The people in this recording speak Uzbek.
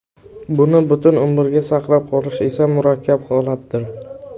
Buni butun umrga saqlab qolish esa murakkab holatdir.